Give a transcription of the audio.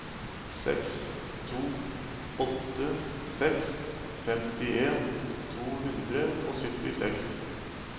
seks to åtte seks femtien to hundre og syttiseks